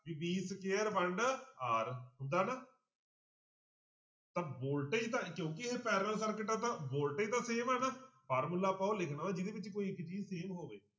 ਵੀ b square ਵੰਡ r ਹੁੰਦਾ ਨਾ ਤਾਂ voltage ਦਾ ਕਿਉਂਕਿ ਇਹ parallel circuit ਆ ਤਾਂ voltage ਤਾਂ same ਆ ਨਾ ਫਾਰਮੁਲਾ ਆਪਾਂ ਉਹ ਲਿਖਣਾ ਜਿਹਦੇ ਵਿੱਚ ਕੋਈ ਇੱਕ ਚੀਜ਼ same ਹੋਵੇ।